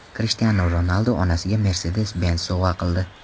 Krishtianu Ronaldu onasiga Mercedes-Benz sovg‘a qildi.